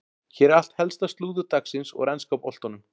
Hér er allt helsta slúður dagsins úr enska boltanum.